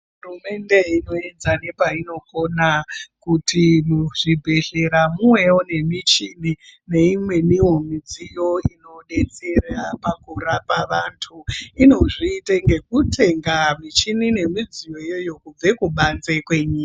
Hurumende irikuedza nepainogona, kuti muzvibhedhlera muvewo nemicheni neimweniwo midziyo inodetsera pakurapa vantu, inozviita ngekutenga michini nemidziyo iyoyo kubve kubanze kwenyika.